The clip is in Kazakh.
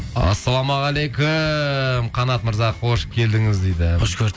ассалаумағалейкум қанат мырза қош келдіңіз дейді қош көрдік